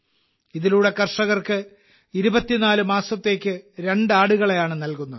ഇതിലൂടെ കർഷകർക്ക് 24 മാസത്തേക്ക് രണ്ട് ആടുകളെയാണ് നൽകുന്നത്